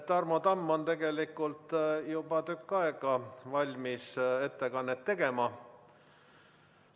Tarmo Tamm on tegelikult juba tükk aega valmis ettekannet tegema.